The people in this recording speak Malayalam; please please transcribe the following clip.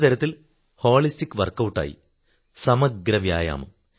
ഒരു തരത്തിൽ ഹോളിസ്റ്റിക് വർക്കൌട് ആയി സമഗ്ര വ്യായാമം